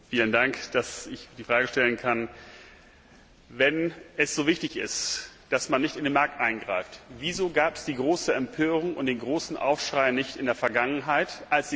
Wenn es so wichtig ist, dass man nicht in den Markt eingreift, wieso gab es dann die große Empörung und den großen Aufschrei nicht in der Vergangenheit, als die Kommission ein unternommen hat?